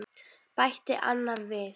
bætti annar við.